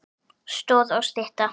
Stoð og stytta.